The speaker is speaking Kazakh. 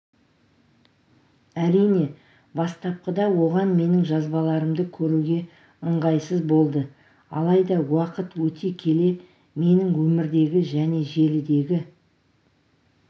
әрине бастапқыда оған менің жазбаларымды көруге ыңғайсыз болды алайда уақыт өте келе менің өмірдегі және желідегі